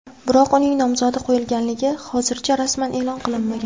Biroq uning nomzodi qo‘yilganligi hozircha rasman e’lon qilinmagan.